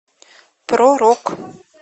про рок